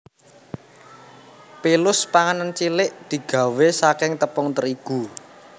Pilus panganan cilik digawé saking tepung terigu